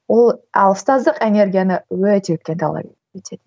ол ал ұстаздық энергияны өте көп талап етеді